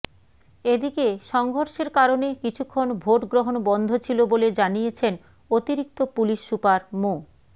এদিকে সংঘর্ষের কারণে কিছুক্ষণ ভোটগ্রহণ বন্ধ ছিল বলে জানিয়েছেন অতিরিক্ত পুলিশ সুপার মো